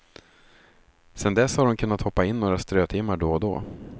Sedan dess har hon kunnat hoppa in några strötimmar då och då.